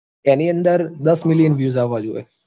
એની અંદર દસ million views આવવા જોવે